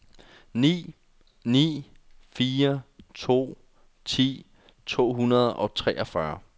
ni ni fire to ti to hundrede og treogfyrre